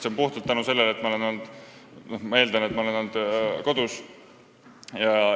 Ma eeldan, et see on nii puhtalt tänu sellele, et ma olen kodus olnud.